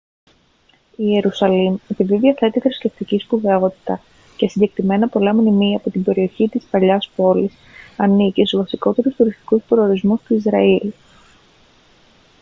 η ιερουσαλήμ επειδή διαθέτει θρησκευτική σπουδαιότητα και συγκεκριμένα πολλά μνημεία από την περιοχή της παλαιάς πόλης ανήκει στους βασικότερους τουριστικούς προορισμούς του ισραήλ